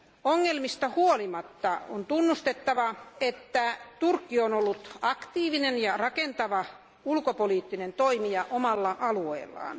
Ongelmista huolimatta on tunnustettava, että Turkki on ollut aktiivinen ja rakentava ulkopoliittinen toimija omalla alueellaan.